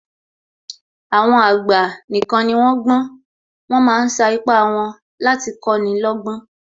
Àwọn àgbà nìkan ni wón gbọ́n, wọ́n ma ń sa ipá wọn láti kọ́ni lọ́gbọ́n